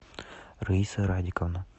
раиса радиковна